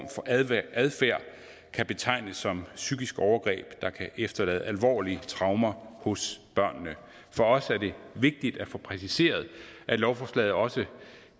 adfærd kan betegnes som psykisk overgreb der kan efterlade alvorlige traumer hos børnene for os er det vigtigt at få præciseret at lovforslaget også